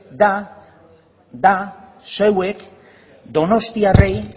da zeuek donostiarrei